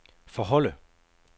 forholde